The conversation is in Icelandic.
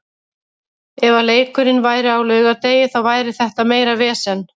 Ef að leikurinn væri á laugardegi þá væri þetta meira vesen.